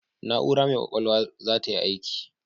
Na'ura mai ƙwaƙwalwar za tayi aiki.